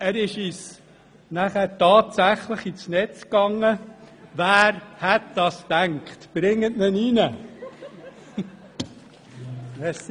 Er ist uns denn auch tatsächlich ins Netz gegangen, wer hätte das gedacht!